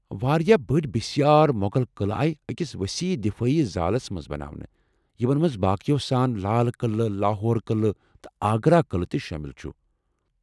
واریاہ بٔڈۍ بسیار مۄغل قلعہٕ آیہ أکس وسیح دفٲعی زالس منٛز بناونہٕ، یمن منٛز باقیو سان لال قلعہٕ، لاہور قلعہٕ، تہٕ آگرا قلعہٕ تہِ شٲمل چُھ۔